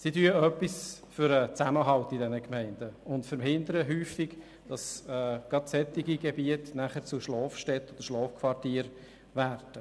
Sie tun etwas für den Zusammenhalt in diesen Gemeinden und verhindern häufig, dass gerade solche Gebiete nachher zu Schlafquartieren werden.